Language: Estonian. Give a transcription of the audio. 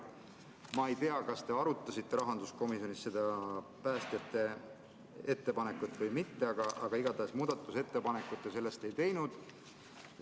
Ma ei tea, kas te arutasite rahanduskomisjonis seda päästjate ettepanekut või mitte, aga igatahes muudatusettepanekut te ei teinud.